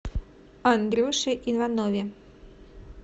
андрюше иванове